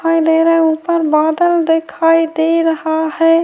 اور میرے اوپر بادل دکھائی دے رہا ہے-